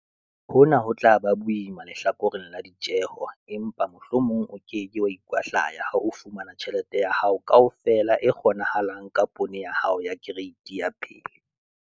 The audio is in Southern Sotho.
Hona ho tla ba boima lehlakoreng la ditjeho empa mohlomong o ke ke wa ikwahlaya ha o fumana tjhelete ya hao kaofela e kgonahalang ka poone ya hao ya kereiti ya pele.